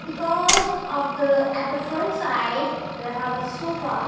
because of the at the front side there have a sofa.